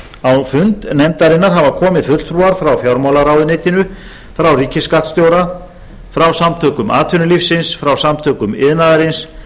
og á fund nefndarinnar hafa komið fulltrúar frá fjármálaráðuneytinu frá ríkisskattstjóra frá samtökum atvinnulífsins frá samtökum iðnaðarins